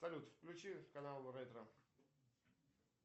салют включи канал ретро